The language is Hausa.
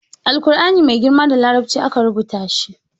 Alkur'ani mai girma da larabci aka ruwa shi